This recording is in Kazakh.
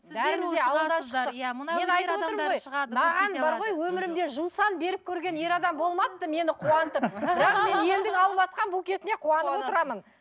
маған бар ғой өмірімде жусан беріп көрген ер адам болмапты мені қуантып бірақ мен елдің алып отырған букетіне қуанып отырамын